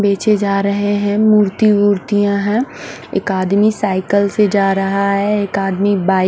बेचे जा रहे है मूर्ति वुर्तिया है एक आदमी साईकल से जा रहा है एक आदमी बाइक --